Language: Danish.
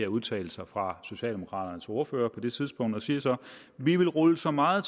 udtalelser fra socialdemokraternes ordfører på det tidspunkt og siger så vi vil rulle så meget